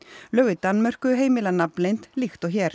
lög í Danmörku heimila nafnleynd líkt og hér